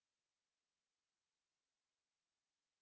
көр де тұр сонда жазылып кетесің